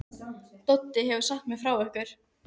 Doddi hefur sagt mér frá ykkur.